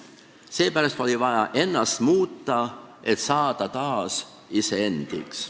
Seepärast oli vaja ennast muuta, et saada taas iseendaks.